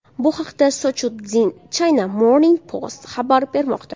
Bu haqda South China Morning Post xabar bermoqda .